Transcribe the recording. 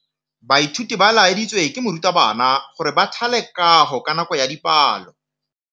Baithuti ba laeditswe ke morutabana gore ba thale kagô ka nako ya dipalô.